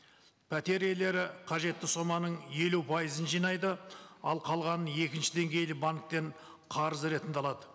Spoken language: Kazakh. пәтер иелері қажетті соманың елу пайызын жинайды ал қалғанын екінші деңгейлі банктен қарыз ретінде алады